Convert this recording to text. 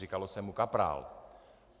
Říkalo se mu kaprál.